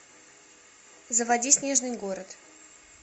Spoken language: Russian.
заводи снежный город